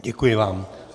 Děkuji vám.